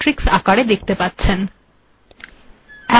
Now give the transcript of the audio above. আপিন আউটপুট্এ a b েমট্িরক্স্আকারে দেখতে পাচ্ছেন